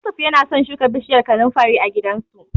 Yusuf yana so shuka bishiyar kanunfari a gidansu.